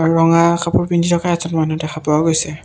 আৰু ৰঙা কাপোৰ পিন্ধি থকা এটা মানুহ দেখা পোৱা গৈছে।